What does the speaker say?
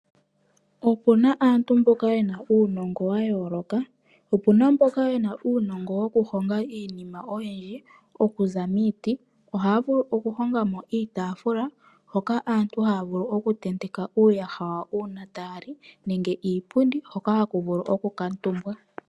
Opuna aantu mboka yena uunogo wayoloka, opuna mboka yena uunogo woku honga iinima oyindji okuza miiti. Oha vulu oku honga mo iitafula hoka aantu haya vulu oku tenteka uuyaha wayo una taya li, nenge iipundi hoka haku vulu oku kamutumbwa.